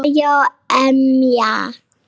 Þau mega vara sig.